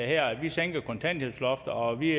her vi sænker kontanthjælpsloftet og vi